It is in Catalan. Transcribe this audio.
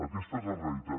aquesta és la realitat